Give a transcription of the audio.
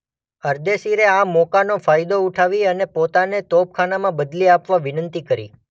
અરદેશીરે આ મોકાનો ફાયદો ઉઠાવી અને પોતાને તોપખાનામાં બદલી આપવા વિનંતી કરી.